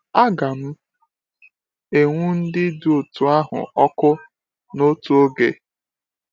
Aga m enwu ndị dị otú ahụ ọkụ n’otu oge.